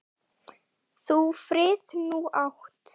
Þú frið nú átt.